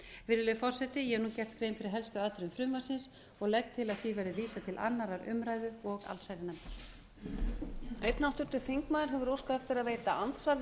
virðulegi forseti ég hef gert grein fyrir helstu atriðum frumvarpsins og legg til að því verði vísað til annarrar umræðu og allsherjarnefndar